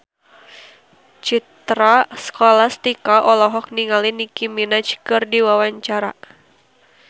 Citra Scholastika olohok ningali Nicky Minaj keur diwawancara